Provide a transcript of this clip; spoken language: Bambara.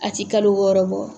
A tɛ kalo wɔɔrɔ bɔ.